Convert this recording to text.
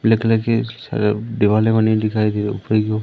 black colour के अ देवाले बनी दिखाई दे रही ऊपर की ओर--